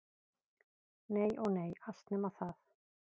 Nei- ó nei, allt nema það.